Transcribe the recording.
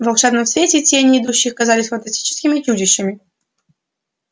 в волшебном свете тени идущих казались фантастическими чудищами